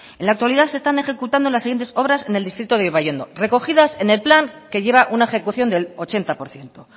en la actualidad se están ejecutando las siguiente obras en el distrito de ibaiondo recogidas en el plan que lleva una ejecución del ochenta por ciento